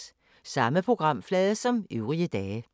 Samme programflade som øvrige dage